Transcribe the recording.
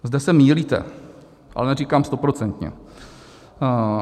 Zde se mýlíte, ale neříkám stoprocentně.